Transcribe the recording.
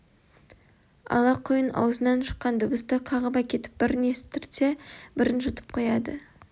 ала құйын аузынан шыққан дыбысты қағып әкетіп бірін естіртсе бірін жұтып қояды